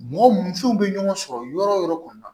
Mɔgɔ mun furuw bɛ ɲɔgɔn sɔrɔ yɔrɔ o yɔrɔ kɔni na